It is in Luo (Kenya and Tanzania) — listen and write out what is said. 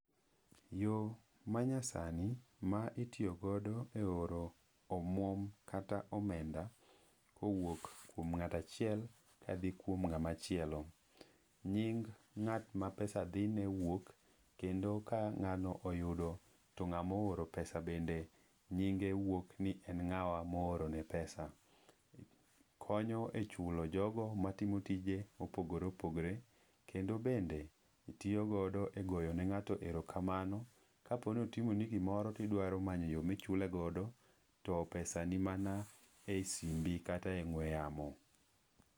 Yo manyasani ma itiyogodo e oro omwuom kata omenda kowuok kuom ng'ato achiel ka dhi kuom ng'ama chielo. Nying ng'at ma pesa dhi ne wuok, kendo ka ng'ano oyudo, to ng'ama ooro pesa bende nyinge wuok ni en ng'awa ma ooro ne pesa. Konyo e chulo jogo ma timo tije ma opogore opogore, kendo bende tiyo godo e goyo ne ng'ato erokamano, ka po ni otimo ni gimoro to idwaro manyo yo ma ichule godo to pesa ni mana e simbi, kata e ong'we yamo.